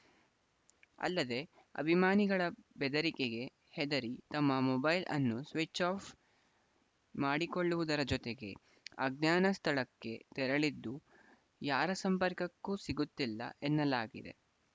ಅಲ್ಲದೇ ಅಭಿಮಾನಿಗಳ ಬೆದರಿಕೆಗೆ ಹೆದರಿ ತಮ್ಮ ಮೊಬೈಲ್‌ ಅನ್ನು ಸ್ವಿಚ್‌ ಆಫ್‌ ಮಾಡಿಕೊಳ್ಳುವುದರ ಜತೆಗೆ ಅಜ್ಞಾನ ಸ್ಥಳಕ್ಕೆ ತೆರಳಿದ್ದು ಯಾರ ಸಂಪರ್ಕಕ್ಕೂ ಸಿಗುತ್ತಿಲ್ಲ ಎನ್ನಲಾಗಿದೆ